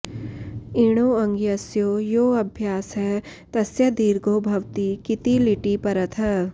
इणो ऽङ्गस्य यो ऽभ्यासः तस्य दीर्घो भवति किति लिटि परतः